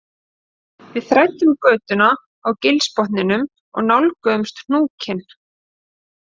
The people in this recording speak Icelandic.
Við þræddum götuna á gilsbotninum og nálguðumst hnúkinn